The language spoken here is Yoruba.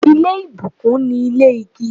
Ile ibukun ni ile igi